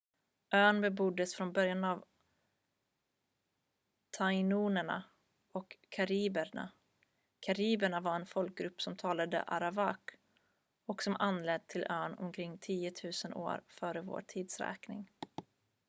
ön beboddes från början av tainoerna och kariberna kariberna var en folkgrupp som talade arawak och som anlänt till ön omkring 10 000 f.v.t